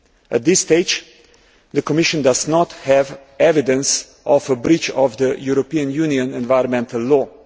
At this stage, the Commission does not have evidence of a breach of European Union environmental law.